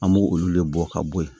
An b'olu de bɔ ka bo yen